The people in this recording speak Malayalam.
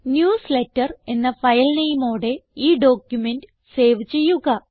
ന്യൂസ്ലേറ്റർ എന്ന ഫയൽ നെയിമോടെ ഈ ഡോക്യുമെന്റ് സേവ് ചെയ്യുക